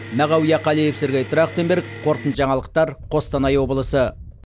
мағауия қалиев сергей трахтенберг қорытынды жаңалықтар қостанай облысы